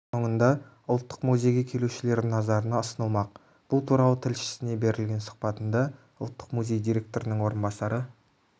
соңында ұлттық музейге келушілердің назарына ұсынылмақ бұл туралы тілшісіне берген сұхбатында ұлттық музей директорының орынбасары